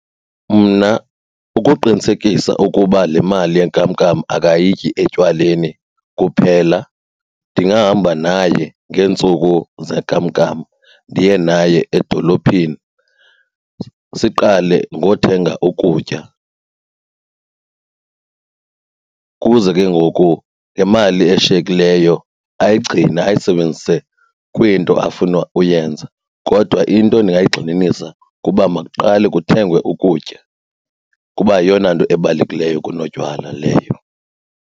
Mna ukuqinisekisa ukuba le mali yenkamnkam akayityi etywaleni kuphela, ndingahamba naye ngeentsuku zenkamnkam ndiye naye edolophini siqale ngothenga ukutya. Kuze ke ngoku ngemali eshiyekileyo ayigcine ayisebenzise kwinto afuna uyenza kodwa into endingayigxininisa kuba makuqale kuthengwe ukutya kuba yeyona nto ebalulekileyo kunotywala leyo.